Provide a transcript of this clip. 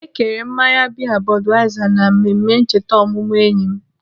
Ekere mmanya biya Budweiser na mmemme ncheta ọmụmụ enyi m.